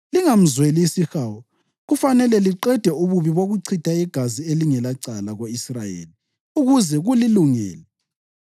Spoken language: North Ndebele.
Lingamzweli isihawu. Kufanele liqede ububi bokuchitha igazi elingelacala ko-Israyeli ukuze kulilungele.